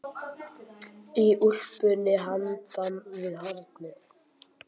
Í úlpunni handan við hornið.